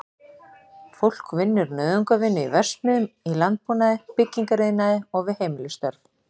Fólk vinnur nauðungarvinnu í verksmiðjum, í landbúnaði, byggingariðnaði og við heimilisstörf.